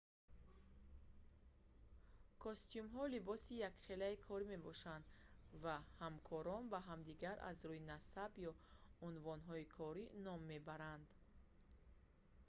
костюмҳо либоси якхелаи корӣ мебошанд ва ҳамкорон ба ҳамдигар аз рӯи насаб ё унвонҳои корӣ ном мебаранд